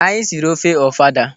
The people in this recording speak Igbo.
Anyị siri ofe ofada.